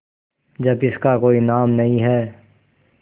जब इसका कोई नाम नहीं है